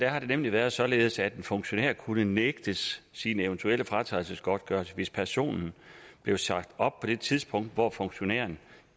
har det nemlig været således at en funktionær kunne nægtes sin eventuelle fratrædelsesgodtgørelse hvis personen blev sagt op på det tidspunkt hvor funktionæren